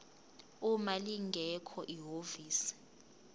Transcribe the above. uma lingekho ihhovisi